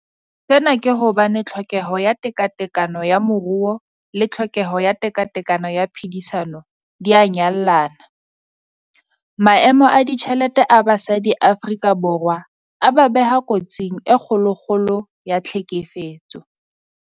Sena ke hobane tlhokeho ya tekatekano ya moruo le tlhokeho ya tekatekano ya phedisano di a nyallana. Maemo a ditjhelete a basadi Afrika Borwa a ba beha kotsing e kgolokgolo ya tlhekefetso.